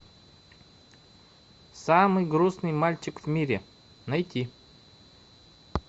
самый грустный мальчик в мире найти